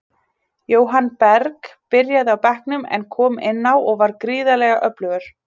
Jóhann Berg byrjaði á bekknum, en kom inn á og var gríðarlega öflugur.